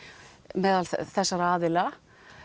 meðal þessara aðila